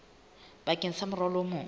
bakeng sa morwalo o mong